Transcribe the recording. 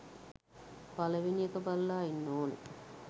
පළවෙනි එක බලල ඉන්න ඕනෙ